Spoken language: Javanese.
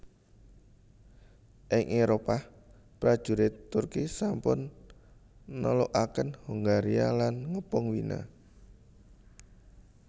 Ing Éropah prajurit Turki sampun nelukaken Hongaria lan ngepung Wina